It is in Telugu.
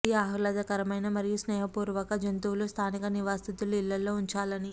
ఈ ఆహ్లాదకరమైన మరియు స్నేహపూర్వక జంతువులు స్థానిక నివాసితులు ఇళ్లలో ఉంచాలని